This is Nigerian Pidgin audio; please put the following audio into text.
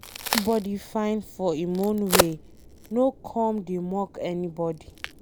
Everybody fine for em own way, no come dey mock anybody